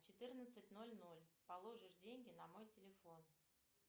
четырнадцать ноль ноль положишь деньги на мой телефон